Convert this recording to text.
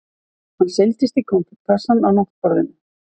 Hann seilist í konfektkassann á náttborðinu.